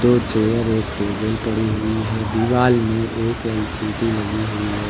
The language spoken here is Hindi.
वो चेयर एक टेबल पड़ी हुई है दीवार में एक एल_सी_डी लगी हुई है।